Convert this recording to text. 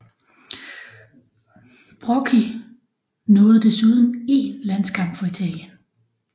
Brocchi nåede desuden én landskamp for Italien